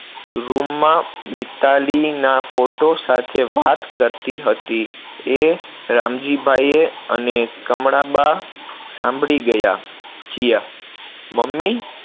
room માં મિતાલીના photo સાથે વાત કરતી હતી એ રામજીભાઈએ અને કમળાબા સાંભળી ગયા, જીયા, મમ્મી